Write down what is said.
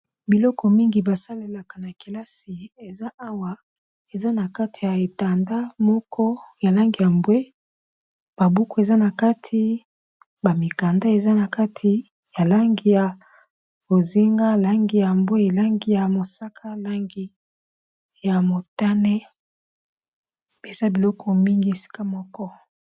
Biloko mingi ba salelaka na kelasi eza awa eza na kati ya etanda moko ya langi ya mbwe, ba buku eza na kati ba mikanda eza na kati ya langi ya bozinga, langi ya mbwe, langi ya mosaka, langi ya motane, pe eza biloko mingi esika moko.